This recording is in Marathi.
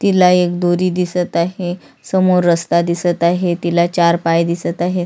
तिला एक दोरी दिसत आहे समोर रस्ता दिसत आहे तिला चार पाय दिसत आहे.